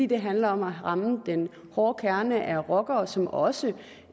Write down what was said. det handler om at ramme den hårde kerne af rockere som også